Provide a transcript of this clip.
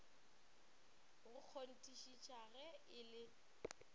go kgonthišiša ge e le